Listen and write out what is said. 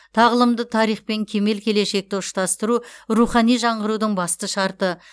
тағылымды тарих пен кемел келешекті ұштастыру рухани жаңғырудың басты шарты